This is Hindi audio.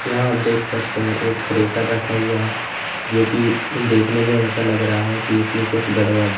यहां आप देख सकते हैं एक थ्रेसर रखा हुआ है जो कि देखने में ऐसा लग रहा है कि इसमें कुछ गड़बड़ है।